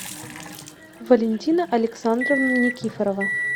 валентина александровна никифорова